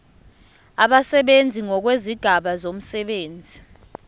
abasebenzi ngokwezigaba zomsebenzi